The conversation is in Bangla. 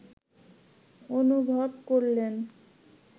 অনুভব করলেন